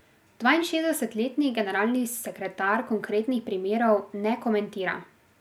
Dvainšestdesetletni generalni sekretar konkretnih primerov ne komentira.